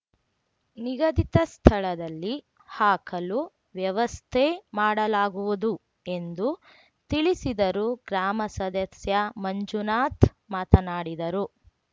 ನಿಗದಿತ ಸ್ಥಳದಲ್ಲಿ ಹಾಕಲು ವ್ಯವಸ್ಥೆ ಮಾಡಲಾಗುವುದು ಎಂದು ತಿಳಿಸಿದರು ಗ್ರಾಮ ಸದಸ್ಯ ಮಂಜುನಾಥ್‌ ಮಾತನಾಡಿದರು